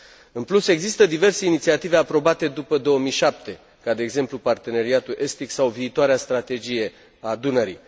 În plus, există diverse inițiative aprobate după 2007, ca, de exemplu, Parteneriatul estic sau viitoarea Strategie a Dunării.